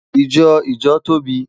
Ijọ ijo tobi